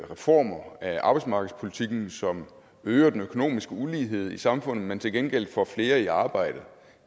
reformer af arbejdsmarkedspolitikken som øger den økonomiske ulighed i samfundet men til gengæld får flere i arbejde